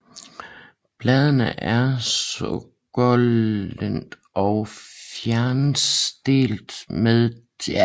Bladene er sukkulente og fjersnitdelte med tandede til lappede afsnit